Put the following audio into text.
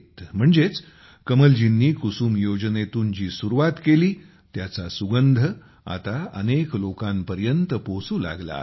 म्हणजेच कमलजींनी कुसुम योजनेतून जी सुरूवात केली त्याचा सुगंध आता अनेक लोकांपर्यंत पोहोचू लागला आहे